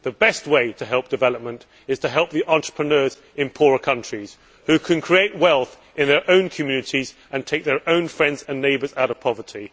The best way to help development is to help the entrepreneurs in poorer countries who can create wealth in their own communities and take their own friends and neighbours out of poverty.